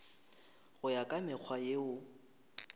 go ya ka mekgwa yeo